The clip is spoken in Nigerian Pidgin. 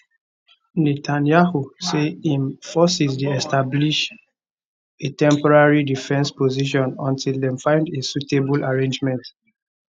netanyahu say im forces dey establish a temporary defensive position until dem find a suitable arrangement